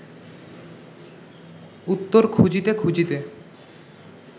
উত্তর খুঁজিতে খুঁজিতে